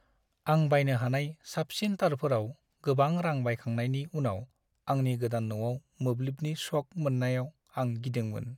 आं बायनो हानाय साबसिन तारफोराव गोबां रां बाहायखांनायनि उनाव आंनि गोदान न'आव मोब्लिबनि शक मोननायाव आं गिदोंमोन।